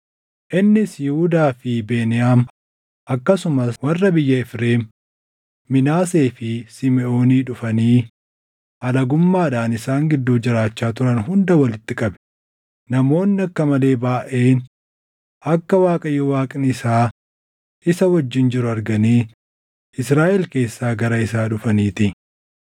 Innis Yihuudaa fi Beniyaam akkasumas warra biyya Efreem, Minaasee fi Simiʼoonii dhufanii alagummaadhaan isaan gidduu jiraachaa turan hunda walitti qabe; namoonni akka malee baayʼeen akka Waaqayyo Waaqni isaa isa wajjin jiru arganii Israaʼel keessaa gara isaa dhufaniitii.